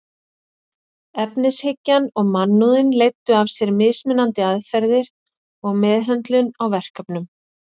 Efnishyggjan og mannúðin leiddu af sér mismunandi aðferðir og meðhöndlun á verkefnum.